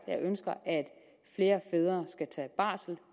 jeg ønsker at flere fædre skal tage barsel